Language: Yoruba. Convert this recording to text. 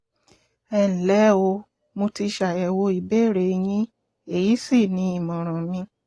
ẹnlẹ́ o mo ti ṣàyẹ̀wò ìbéèrè yín èyí sì ni ìmọ̀ràn mi